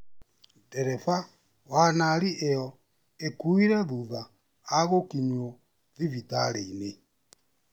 Ndereba wa nari iyo akuire thutha a gũkinywo thibitarĩinĩ